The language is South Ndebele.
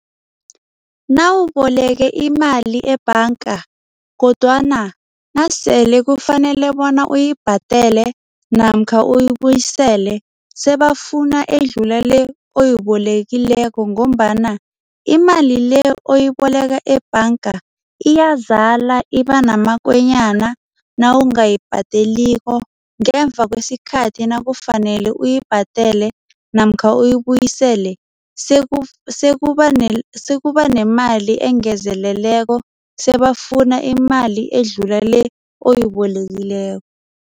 Nawuboleke imali ebhanga kodwana nasele kufanele bona uyibhadele namkha uyibuyisele sebafuna edlula le oyibolekileko ngombana imali le oyiboleka ebhanga iyazala, ibanamakonyana nawungayibhadeliko. Ngemva kwesikhathi nakufanele uyibhadele namkha uyibuyisele, sekuba nemali engezelelweko, sebafuna imali edlula le oyibolekileko.